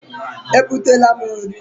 E butela m nri.